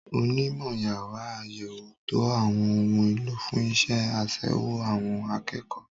Onímọ̀ yàrá àyẹ̀wò ń to àwọn ohun èlò fún iṣẹ́ àṣewò àwọn akẹ́kọ̀ọ́.